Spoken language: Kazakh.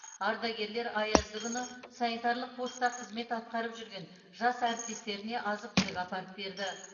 ардагерлер аязды күні санитарлық поста қызмет атқарып жүрген жас әріптестеріне азық түлік апарып берді